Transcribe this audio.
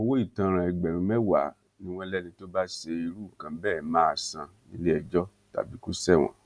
owó ìtanràn ẹgbẹrún mẹwàá ni wọn lẹni tó bá ṣe irú nǹkan bẹẹ máa san níléẹjọ tàbí kò ṣẹwọn